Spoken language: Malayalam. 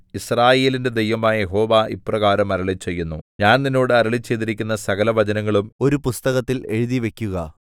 യിസ്രായേലിന്റെ ദൈവമായ യഹോവ ഇപ്രകാരം അരുളിച്ചെയ്യുന്നു ഞാൻ നിന്നോട് അരുളിച്ചെയ്തിരിക്കുന്ന സകലവചനങ്ങളും ഒരു പുസ്തകത്തിൽ എഴുതിവയ്ക്കുക